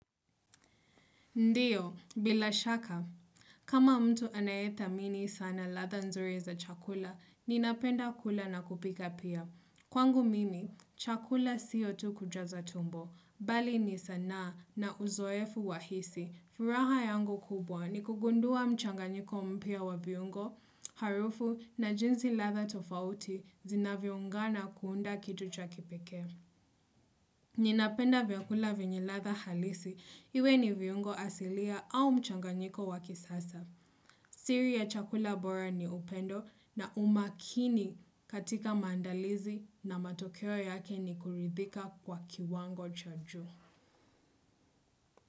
Ndiyo, bila shaka. Kama mtu anayethamini sana ladha nzuri za chakula, ninapenda kula na kupika pia. Kwangu mimi, chakula siyo tu kujaza tumbo, bali ni sana na uzoefu wa hisi. Furaha yangu kubwa ni kugundua mchanganyiko mpya wa viungo, harufu na jinzi ladha tofauti zinavyoungana kuunda kitu cha kipekee. Ninapenda vyakula vyenye ladha halisi, iwe ni viungo asilia au mchanganyiko wa kisasa. Siri ya chakula bora ni upendo na umakini katika maandalizi na matokeo yake ni kuridhika kwa kiwango cha juu.